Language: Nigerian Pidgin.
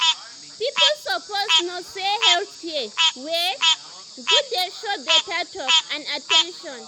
people suppose know say health care wey good dey show better talk and at ten tion.